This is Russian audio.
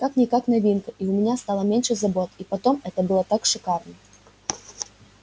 как-никак новинка и у меня стало меньше забот и потом это было так шикарно